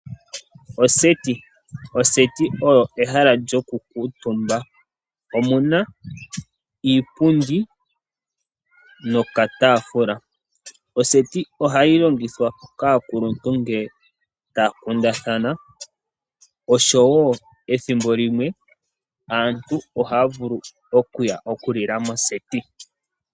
Oseti Oseti oyo ehala lyoku kuutumba. Omuna iipundi noka taafula. Oseti ohayi longithwa kaakuluntu ngele ta ya kundathana oshowo ethimbo limwe aantu ohaya vulu oku ya oku lila moseti.